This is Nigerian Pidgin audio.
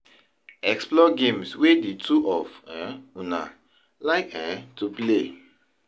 Explore games wey di two of um una like um to play